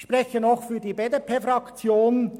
Ich spreche nun noch für die BDP-Fraktion: